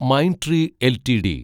Mindtree LTD